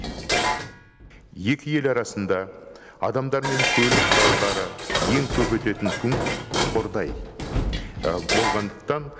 екі ел арасында адамдар мен көлік құралдары ең көп өтетін пункт қордай болғандықтан